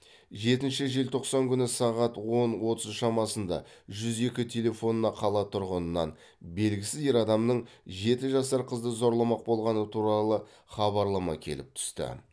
жетінші желтоқсан күні сағат он отыз шамасында жүз екі телефонына қала тұрғынынан белгісіз ер адамның жеті жасар қызды зорламақ болғаны туралы хабарлама келіп түсті